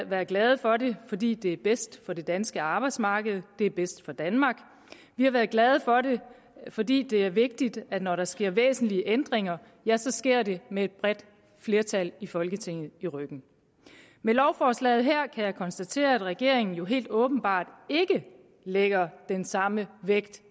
været glade for det fordi det er bedst for det danske arbejdsmarked det er bedst for danmark vi har været glade for det fordi det er vigtigt at når der sker væsentlige ændringer ja så sker det med et bredt flertal i folketinget i ryggen med lovforslaget her kan jeg konstatere at regeringen jo helt åbenbart ikke lægger den samme vægt